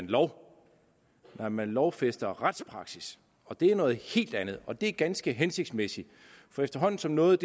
lov nej man lovfæster retspraksis og det er noget helt andet og det er ganske hensigtsmæssigt for efterhånden som noget